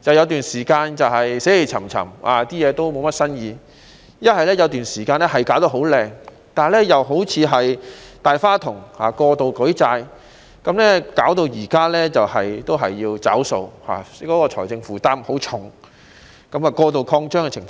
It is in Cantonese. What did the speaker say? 就是有段時間死氣沉沉，設施了無新意；要不就是有段時間弄得很華麗，但又變得好像"大花筒"般，過度舉債，以致現在仍然要"找數"，財政負擔甚重，出現過度擴張的情況。